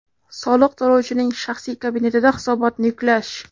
Soliq to‘lovchining shaxsiy kabinetida hisobotni yuklash.